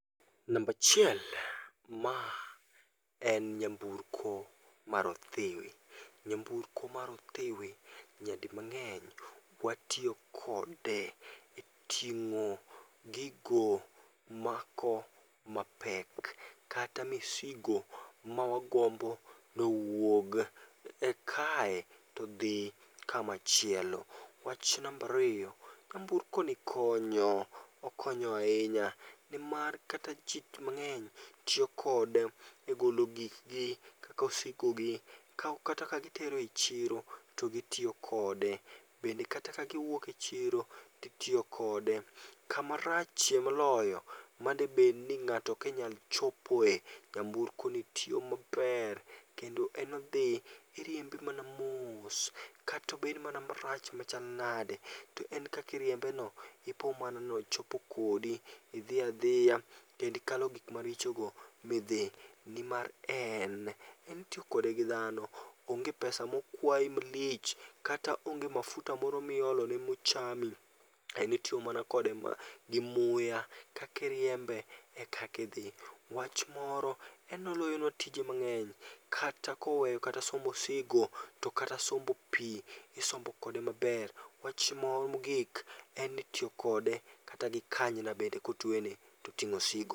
Nambachiel, ma en nyamburko maro othiwi. Nyamburkomar othiwi nyadi mang'eny watiyo kode e ting'o gigo mako mapek. Kata misigo mawagombo nowuog e kae todhi kamachiel. Wach nambariyo, nyamburkoni konyo, okonyo ahinya . Nimar kata ji mang'eny tiyo kode e golo gikgi kaka osigo gi. Kaok kata ka gitero e chiro, to gitiyo kode. Bende kata ka giwuok e chiro, titiyo kode. Kamarachie moloyo madebedni ng'ato okenyal chopoe, nyamburkoni tiyo maber. Kendo en odhi, iriembe mana moos. Katobed mana marach machal nade, to en kakiriembeno ipo mana nochopo kodi. Idhi adhiya kendikalo gik marichogo midhi. Nimar en, en itiyo kode gi dhano. Onge pesa mokwai malich, kata onge mafuta moro miolone mochami. En itiyo mana kode ma gi muya, kakiriembe e kakidhi. Wach moro, en noloyonwa tije mang'eny. Kata koweyo kata sombo osigo, to kata sombo pi isombo kode maber. Wach moro mogik, en ni itiyo kode kata gi kanyna bende kotwene to ting'o osigo.